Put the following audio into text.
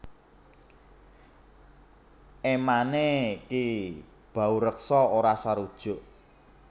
Emane Ki Baureksa ora sarujuk